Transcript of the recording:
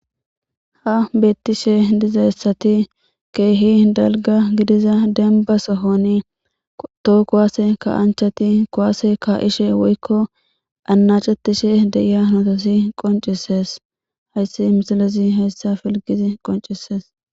ha betiishshe dizassati ke'hi dalgga gidiza denba sohoni too kuwase kanchchati kuwase ka'ishshe woykko anachchetiishshe de'iya hanoti qoncisees hayssi misilezi heyssa filgidi qoncisees